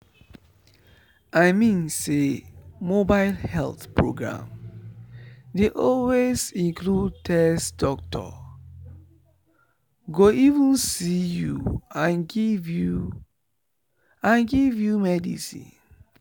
i mean say mobile health program dey always include test doctor go even see you and give you and give you medicine.